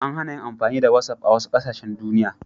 An hana yin amfani da whatsapp a wasu ƙasashen duniya.